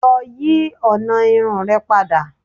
Lọ yi ọna irun rẹ pada.